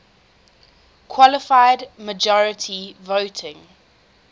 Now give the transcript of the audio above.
qualified majority voting